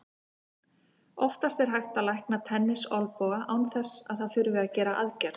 Oftast er hægt að lækna tennisolnboga án þess að það þurfi að gera aðgerð.